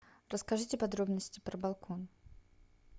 расскажите подробности про балкон